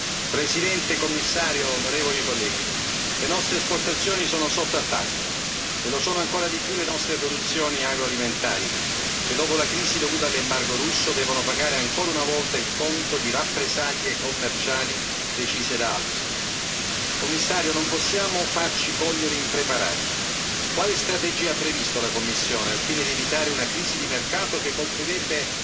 Signora Presidente, onorevoli colleghi, signor Commissario, le nostre esportazioni sono sotto attacco e lo sono ancora di più le nostre produzioni agroalimentari che, dopo la crisi dovuta all'embargo russo, devono pagare ancora una volta il conto di rappresaglie commerciali decise da altri. Signor Commissario, non possiamo farci cogliere impreparati. Quale strategia ha previsto la Commissione al fine di evitare una crisi di mercato che colpirebbe